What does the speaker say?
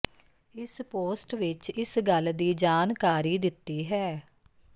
ਇਸ ਪੋਸਟ ਵਿੱਚ ਇਸ ਗੱਲ ਦੀ ਜਾਣਕਾਰੀ ਦਿੱਤੀ ਹੈ